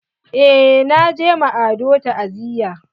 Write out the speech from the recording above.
Eh na je ma Ado ta'aziya.